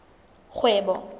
kgwebo